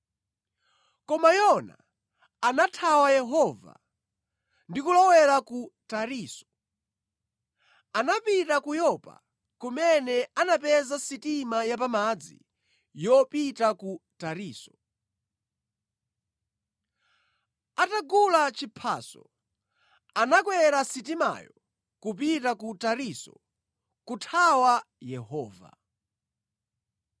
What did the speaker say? Koma Yona anathawa Yehova ndi kulowera ku Tarisisi. Anapita ku Yopa, kumene anapeza sitima yapamadzi yopita ku Tarisisi. Atagula chiphaso, anakwera sitimayo kupita ku Tarisisi kuthawa Yehova.